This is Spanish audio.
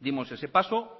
dimos ese paso